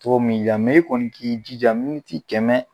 cogo min y'i diya i kɔni k'i jija miniti kɛmɛ